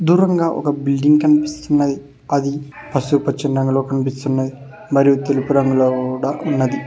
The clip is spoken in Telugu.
దూరంగా ఒక బిల్డింగ్ కనిపిస్తుంది అది పసుపు పచ్చని రంగులో కనిపిస్తున్నది మరియు తెలుపు రంగులో కూడా ఉన్నది.